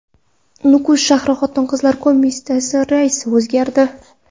Nukus shahri Xotin-qizlar qo‘mitasi raisi o‘zgardi.